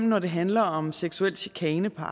når det handler om seksuel chikane på